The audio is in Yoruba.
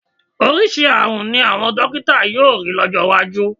Oríṣiríṣi ààrùn ni àwọn dọ́kítà yóò rí lọ́jọ́ iwájú.